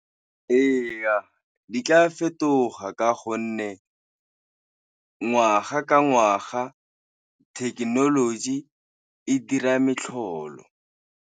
Eya, di tla fetoga ka gonne ngwaga ka ngwaga thekenoloji e dira metlholo.